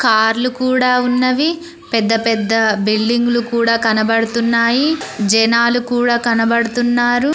కార్లు కూడా ఉన్నవి పెద్ద పెద్ద బిల్డింగ్లు కూడా కనబడుతున్నాయి జనాలు కూడా కనబడుతున్నారు.